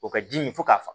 O ka ji min fo k'a fa